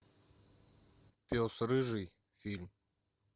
пес рыжий фильм